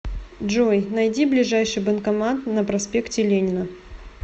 джой найди ближайший банкомат на проспекте ленина